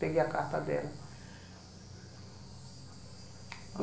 Peguei a carta dela.